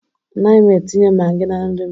Anaghị m etinye Magi na nri m